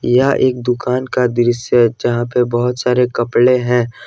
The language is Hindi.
यह एक दुकान का दृश्य है जहां पे बहुत सारे कपड़े हैं।